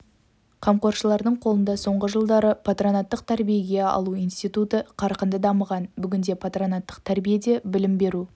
қамқоршылардың қолында соңғы жылдары патронаттық тәрбиеге алу институты қарқынды дамыған бүгінде патронаттық тәрбиеде білім беру